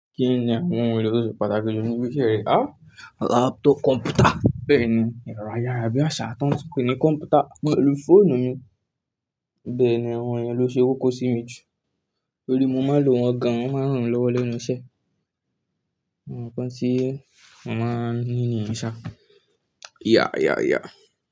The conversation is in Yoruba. Kí ni àwọn ohun èlò tó ṣe pàtàkì jù níbi iṣẹ́ rẹ? Laptop kọ̀mpútà, bẹ́ẹ̀ ni ẹ̀rọ ayára bí àṣá tán tu ń pè ní kọ̀mpútà pẹ̀lú fóònù mi. Bẹ́ẹ̀ ni àwọn ohun yìí ló ṣe kókó sí mi jù nítorí mo máa ń lò wọn gan, wọ́n máa ń ràn mí lọ́wọ́ lẹ́nu iṣẹ́. Gbogbo ǹkan tí mo má lò niye ṣá. Yeah, yeah, yeah.